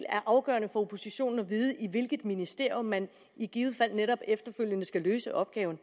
afgørende for oppositionen at vide i hvilket ministerium man i givet fald efterfølgende skal løse opgaven